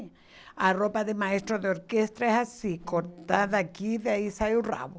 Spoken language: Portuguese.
A roupa de maestro de orquestra é assim, cortada aqui, daí sai o rabo.